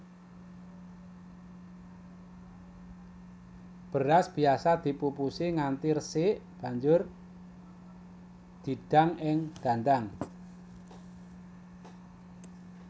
Beras biasa dipupusi nganti resik banjur didang ing dandang